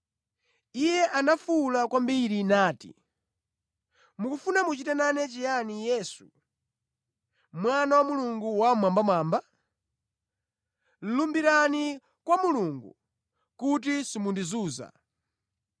Iye anafuwula kwambiri nati, “Mukufuna muchite nane chiyani, Yesu Mwana wa Mulungu Wammwambamwamba? Lumbirani kwa Mulungu kuti simundizunza!”